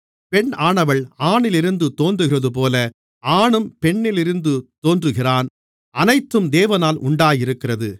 பெண்ணானவள் ஆணிலிருந்து தோன்றுகிறதுபோல ஆணும் பெண்ணிலிருந்து தோன்றுகிறான் அனைத்தும் தேவனால் உண்டாயிருக்கிறது